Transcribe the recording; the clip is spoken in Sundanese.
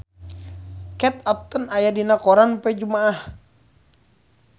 Kate Upton aya dina koran poe Jumaah